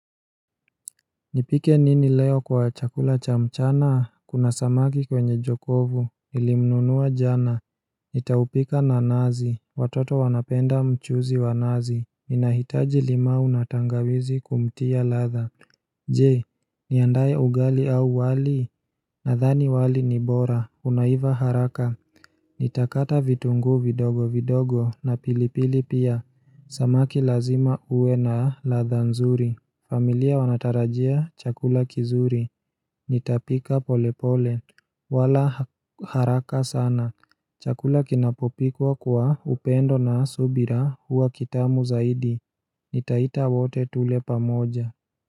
Nipike nini leo kwa chakula cha mchana? Kuna samaki kwenye jokovu, nilimnunua jana Nitaupika na nazi, watoto wanapenda mchuzi wa nazi, inahitaji limau na tangawizi kumtia ladha Je, niandaye ugali au wali, nadhani wali ni bora, unaiva haraka Nitakata vitungu vidogo vidogo na pilipili pia, samaki lazima uwe na ladha nzuri. Familia wanatarajia chakula kizuri Nitapika polepole wala haraka sana Chakula kinapopikwa kwa upendo na subira huwa kitamu zaidi Nitaita wote tule pamoja.